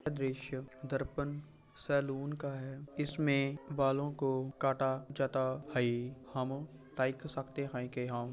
दृश्य दर्पण सलून का है इसमें बालों को काटा जाता हई हमो ट्राई कर सकते हैं की हम--